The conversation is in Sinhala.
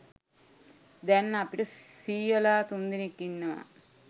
දැන් අපට සීයලා තුන්දෙනෙක් ඉන්නවා.